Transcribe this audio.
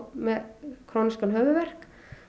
með krónískan höfuðverk